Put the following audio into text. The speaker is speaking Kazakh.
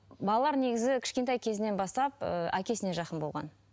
балалар негізі кішкентай кезінен бастап ыыы әкесіне жақын болған